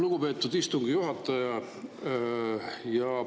Lugupeetud istungi juhataja!